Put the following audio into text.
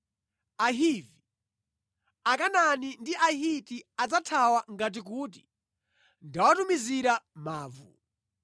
Ahivi, Akanaani ndi Ahiti adzathawa ngati kuti ndawatumizira mavu.